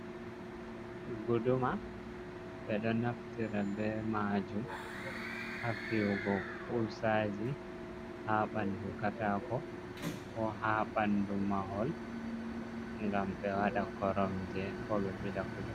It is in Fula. Guduma ɓe ɗo naftira be majum ha fiyugo kuusaji ha andu katako, ko ha bandu mahol gam ɓe wada koromge, ko be bila kuje.